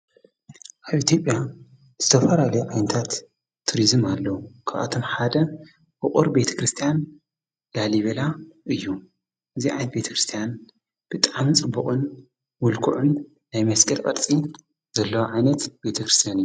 ኣብ ኢትዮጵያ ዝተፈላለዮ ዓይነታት ቱርዝም ኣለዉ ክብኣቶም ሓደ ኦቑር ቤተ ክርስቲያን ላሊቤላ እዩ እግዚኣት ቤተ ክርስቲያን ብጣም ጽቡቕን ውልክዑን ናይ መስጊድ ቕ ርጺ ዘለዋ ዓይነት ቤተ ክርስቲያን እዩ።